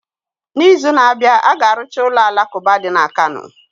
N'izu na-abịa, a ga-arụcha ụlọ alakụba dị na Kano.